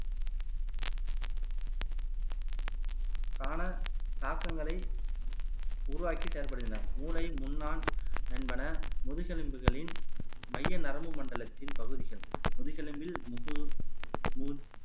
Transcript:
காண தாக்கங்களை உருவாக்கி செயல்படுகின்றனர் மூளை நுண்ணான் என்பன முதுகெலும்புகளின் மைய நரம்பு மண்டலத்தின் பகுதிகள் முதுகெலும்பில் முகு மு